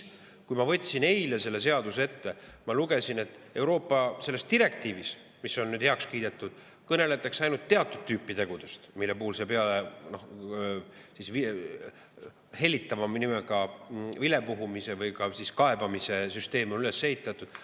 Kui ma võtsin eile selle seaduse ette, siis ma lugesin, et Euroopa selles direktiivis, mis on nüüd heaks kiidetud, kõneletakse ainult teatud tüüpi tegudest, mille peale see hellitava nimega vilepuhumise või kaebamise süsteem on üles ehitatud.